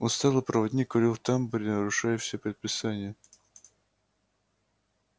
усталый проводник курил в тамбуре нарушая все предписания